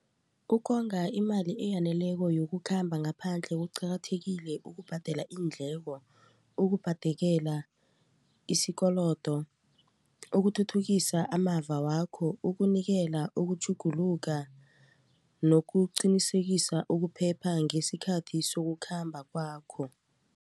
Ukonga imali eyaneleko yokukhamba ngaphandle kuqakathekile ukubhadela iindleko ukubhadekela isikolodo ukuthuthukisa amava wakho ukunikela ukutjhuguluka nokuqinisekisa ukuphepha ngesikhathi sokukhamba kwakho.